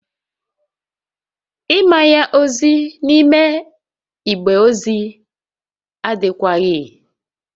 Ịmanye ozi n'ime igbe ozi adịkwaghị